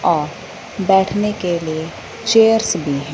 और बैठने के लिए चेयर्स भी हैं।